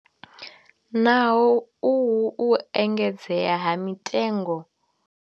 Naho uhu u engedzea ha mitengo.